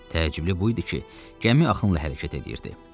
Təəccüblü bu idi ki, gəmi axınla hərəkət edirdi.